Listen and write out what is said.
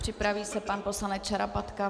Připraví se pan poslanec Šarapatka.